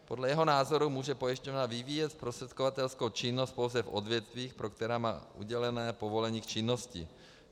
Podle jeho názoru může pojišťovna vyvíjet zprostředkovatelskou činnost pouze v odvětvích, pro která má udělené povolení k činnosti.